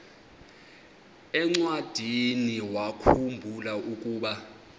encwadiniwakhu mbula ukuba